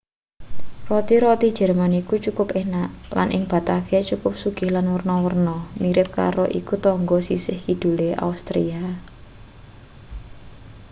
roti-roti jerman iku cukup enak lan ing batavia cukup sugih lan werna-werna mirip karo iku tangga sisih kidule austria